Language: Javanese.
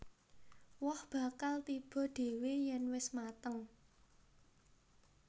Woh bakal tiba dhéwé yèn wis mateng